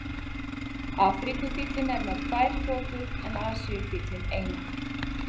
Afríkufíllinn er með tvær totur en Asíufíllinn eina.